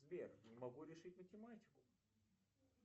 сбер не могу решить математику